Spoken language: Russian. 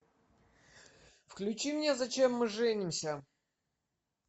включи мне зачем мы женимся